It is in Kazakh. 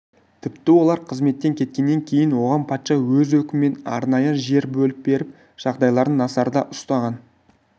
тіпті олар қызметтен кеткеннен кейін оған патша өз өкімімен арнайы жер бөліп беріп жағдайларын назарда ұстаған